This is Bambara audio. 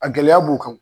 A gɛlɛya b'u kan